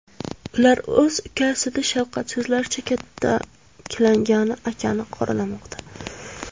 Ular o‘z ukasini shafqatsizlarcha kaltaklagan akani qoralamoqda.